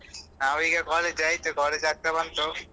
ನಾವೀಗ college ಆಯ್ತು college ಆಗ್ತಾ ಬಂತು.